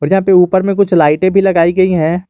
ऊपर में कुछ लाइटें भी लगाई गई है।